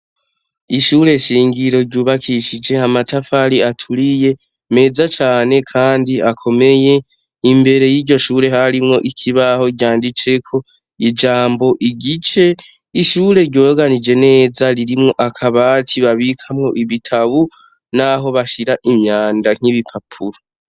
Ishure shingiro ryubakishije amatafari aturiye meza cane kandi akomeye, imbere yiryoshure harimwo ikibaho ryanditseko ijambo igice ishure ryoroganije neza ririmwo akabati babikamwo ibitabu, naho bashira imyanda nk’ibipapuro.